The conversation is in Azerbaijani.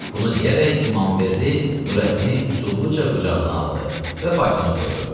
Bunu deyərək İmamverdi Nurəddini üsulluca qucağına aldı və faytona qoydu.